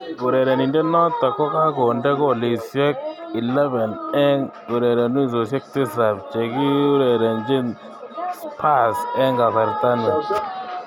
Urerenindet noto kokakonde golisiek 11 eng ureronosiek tisab chegiurerenji Spers eng kasarta ni.